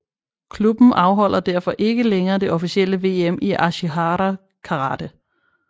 Klubben afholder derfor ikke længere det officielle VM i Ashihara Karate